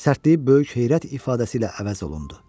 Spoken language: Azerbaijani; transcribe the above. Sərtliyi böyük heyrət ifadəsi ilə əvəz olundu.